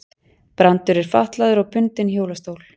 Brandur er fatlaður og bundinn hjólastól.